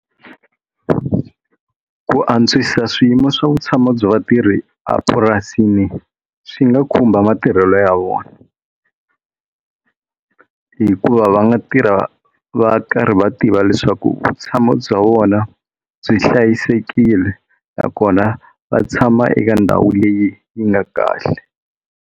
Ku antswisa swiyimo swa vutshamo bya vatirhi a purasini swi nga khumba matirhelo ya vona hi ku ku va va nga tirha va ri karhi va tiva leswaku vutshamo bya vona byi hlayisekile nakona va tshama eka ndhawu leyi yi nga kahle.